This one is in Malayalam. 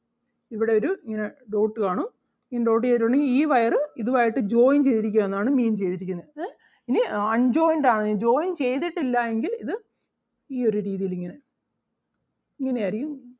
ഇവിടൊരു ഇങ്ങനെ dot കാണും ഇങ്ങനെ dot ചെയ്തിട്ടുണ്ടെങ്കിൽ ഈ wire അഹ് ഇതും ആയിട്ട് joint ചെയ്തിരിക്കുകയെന്നാണ് mean ചെയ്തിരിക്കുന്നെ ഏഹ് ഇനി unjoined ആണ് joint ചെയ്തിട്ടില്ല എങ്കിൽ ഇത് ഈ ഒരു രീതിയിൽ ഇങ്ങനെ ഇങ്ങനെ ആരിക്കും